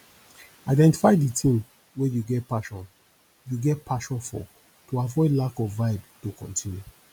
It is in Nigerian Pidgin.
identify di thing wey you get passion you get passion for to avoid lack of vibe to continue